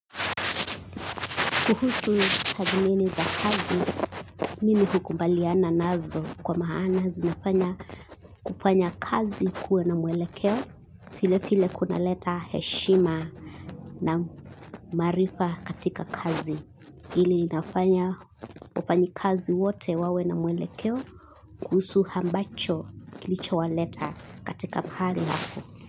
Kuhusu tathmini za kazi, mimi hukubaliana nazo kwa maana zinafanya kufanya kazi kuwa na mwelekeo, file file kunaleta heshima na maarifa katika kazi. Ili inafanya wafanyikazi wote wawe na mwelekeo kuhusu ambacho kilichowaleta katika mahali hapo.